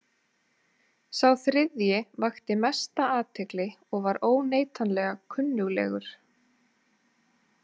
Sá þriðji vakti mesta athygli og var óneitanlega kunnuglegur.